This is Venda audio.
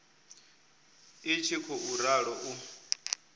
i tshi khou ralo u